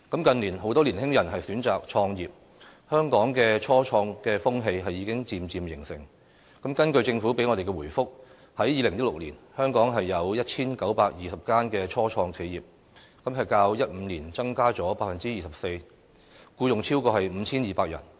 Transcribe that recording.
近年很多年輕人選擇創業，香港的初創風氣已經漸漸形成，根據政府給我們的回覆，在2016年，香港有 1,920 間初創企業，較2015年增加了 24%， 僱用超過 5,200 人。